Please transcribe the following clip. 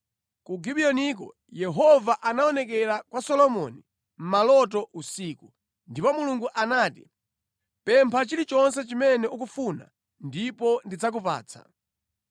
Ku Gibiyoniko Yehova anaonekera kwa Solomoni mʼmaloto usiku, ndipo Mulungu anati, “Pempha chilichonse chimene ukufuna ndipo ndidzakupatsa.”